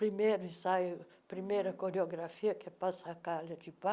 Primeiro ensaio, primeira coreografia, que é Passacaglia de